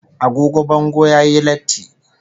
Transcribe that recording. Agogo bango yayi latti